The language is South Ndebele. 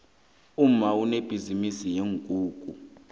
umma unebhizinisi yeenkukhu